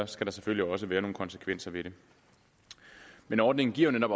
skal der selvfølgelig også være nogle konsekvenser ved det men ordningen giver netop